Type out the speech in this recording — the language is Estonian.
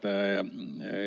Hea juhataja!